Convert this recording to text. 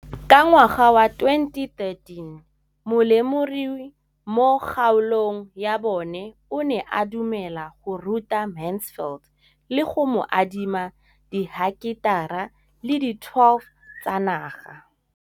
Ka ngwaga wa 2013, molemirui mo kgaolong ya bona o ne a dumela go ruta Mansfield le go mo adima di heketara di le 12 tsa naga.